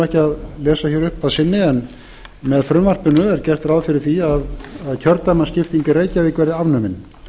ekki að lesa hér upp að sinni en með frumvarpinu er gert ráð fyrir því að kjördæmaskipting í reykjavík verði afnumin